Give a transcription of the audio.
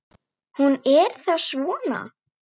Hún er þá svona!